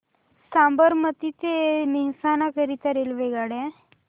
साबरमती ते मेहसाणा करीता रेल्वेगाड्या